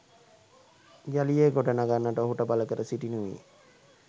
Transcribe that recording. යළි එය ගොඩගන්නට ඔහුට බලකර සිටිනුයේ